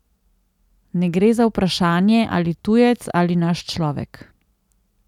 Ne gre za vprašanje, ali tujec ali naš človek.